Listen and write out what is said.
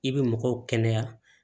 I bɛ mɔgɔw kɛnɛya